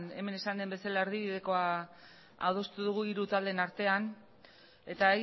hemen esan den bezala erdibidekoa adostu dugu hiru taldeen artean eta